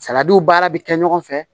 baara bɛ kɛ ɲɔgɔn fɛ